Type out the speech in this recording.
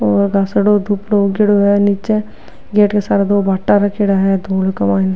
उगेडो है निचे माइने।